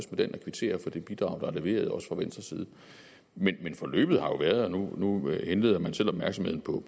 den og kvitterer for det bidrag der er leveret også fra venstre side men forløbet har jo været nu henleder man selv opmærksomheden på